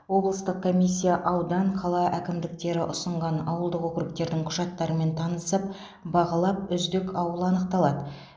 облыстық комиссия аудан қала әкімдіктері ұсынған ауылдық округтердің құжаттарымен танысып бағалап үздік ауыл анықталады